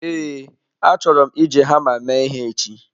Ee, achọrọ m iji hama mee ihe echi.